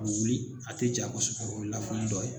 Wuli a tɛ ja kosɛbɛ o ye lafuli dɔ ye